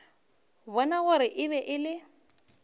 bona gore e be e